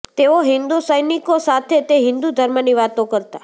તેઓ હિન્દુ સૈનિકો સાથે તે હિન્દુ ધર્મની વાતો કરતા